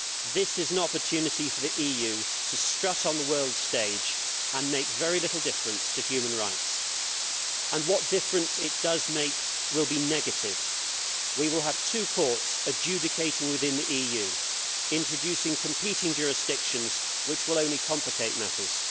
This is an opportunity for the EU to strut on the world stage and make very little difference to human rights and what difference it does make will be negative. We will have two courts adjudicating within the EU, introducing competing jurisdictions which will only complicate matters.